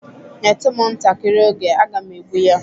Nyetu m ntakịrị oge, aga m egbụ ya.